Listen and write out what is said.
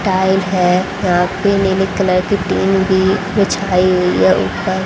tile है यहां पे नीली कलर की टीन भी बीछाई हुई है ऊपर --